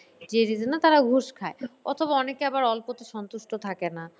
যে reason -এ তারা ঘুষ খায় অথবা অনেকে আবার অল্পতে সন্তুষ্ট থাকে না।